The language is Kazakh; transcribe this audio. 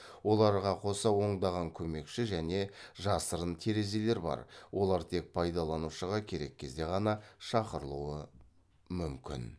оларға қоса ондаған көмекші және жасырын терезелер бар олар тек пайдаланушыға керек кезде ғана шақырылуы мүмкін